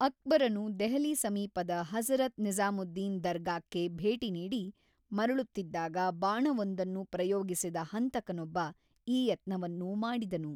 ಅಕ್ಬರನು ದೆಹಲಿ ಸಮೀಪದ ಹಜ಼ರತ್ ನಿಜಾ಼ಮುದ್ದೀನ್ ದರ್ಗಾಕ್ಕೆ ಭೇಟಿ ನೀಡಿ ಮರಳುತ್ತಿದ್ದಾಗ ಬಾಣವೊಂದನ್ನು ಪ್ರಯೋಗಿಸಿದ ಹಂತಕನೊಬ್ಬ ಈ ಯತ್ನವನ್ನು ಮಾಡಿದನು.